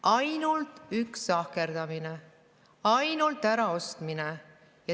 Ainult üks sahkerdamine, ainult äraostmine.